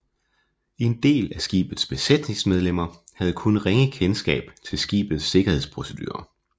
En del af skibets besætningsmedlemmer havde kun ringe kendskab til skibets sikkerhedsprocedurer